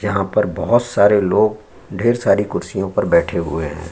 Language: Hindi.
यहाँ पर बोहोत सारे लोग ढेर सारी कुर्सियों पर बैठे हुए हैं।